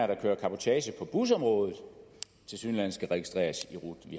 der kører cabotage på busområdet tilsyneladende skal registreres i rut